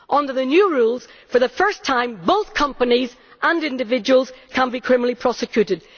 Under the new rules, for the first time both companies and individuals can be criminally prosecuted.